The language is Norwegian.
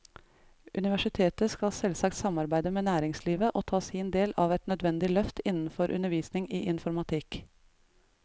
Universitetet skal selvsagt samarbeide med næringslivet og ta sin del av et nødvendig løft innenfor undervisning i informatikk.